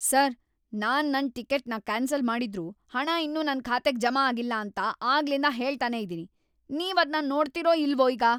Sir! ನಾನ್ ನನ್ ಟಿಕೆಟ್‌ನ ಕ್ಯಾನ್ಸಲ್‌ ಮಾಡಿದ್ರೂ ಹಣ ಇನ್ನೂ ನನ್ ಖಾತೆಗ್ ಜಮಾ ಆಗಿಲ್ಲ ಅಂತ ಆಗ್ಲಿಂದ ಹೇಳ್ತನೇ ಇದೀನಿ, ನೀವದ್ನ ನೋಡ್ತೀರೋ ಇಲ್ವೋ ಈಗ?